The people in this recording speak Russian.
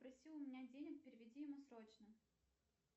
просил у меня денег переведи ему срочно